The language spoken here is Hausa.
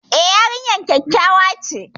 E, yarinyar kyakkyawa ce.